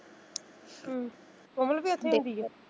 ਹਮ ਕੋਮਲ ਵੀ ਐਥੇ .